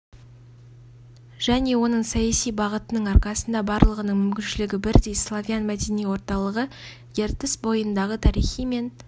және оның саяси бағытының арқасында барлығының мүмкіншілігі бірдей славян мәдени орталығы ертіс бойындағы тарихы мен